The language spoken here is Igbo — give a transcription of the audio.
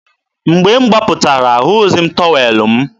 mgbe m gbapụtara, ahụghịzi m tọwel m.